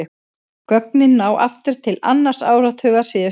Gögnin ná aftur til annars áratugar síðustu aldar.